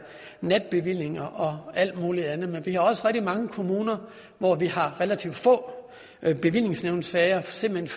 natbevillinger og alt muligt andet men vi har også rigtig mange kommuner hvor vi har relativt få bevillingsnævnssager simpelt